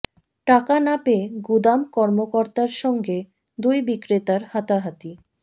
টাকা না পেয়ে গুদাম কর্মকর্তার সঙ্গে দুই বিক্রেতার হাতাহাতি